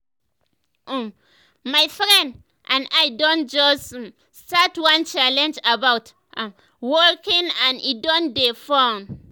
um my friends and i don just um start one challenge about um walking and e don dey fun.